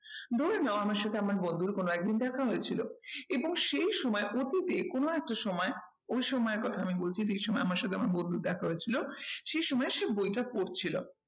ধরে নাও আমার সাথে আমার বন্ধুর কোনো একদিন দেখা হয়েছিল এবং সেই সময় অতীতে কোনো একটা সময় ওই সময়ের কথা আমি বলছি যেই সময় আমার সাথে আমার বন্ধুর দেখা হয়েছিল। সেই সময় সে বইটা পড়ছিল।